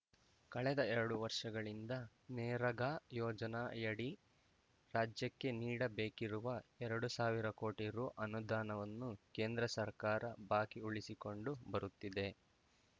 ಕಳೆದ ಎರಡು ವರ್ಷಗಳಿಂದ ನೇರಾಗಾ ಯೋಜನಾಯಡಿ ರಾಜ್ಯಕ್ಕೆ ನೀಡಬೇಕಿರುವ ಎರಡು ಸಾವಿರ ಕೋಟಿ ರು ಅನುದಾನವನ್ನು ಕೇಂದ್ರ ಸರ್ಕಾರ ಬಾಕಿ ಉಳಿಸಿಕೊಂಡು ಬರುತ್ತಿದೆ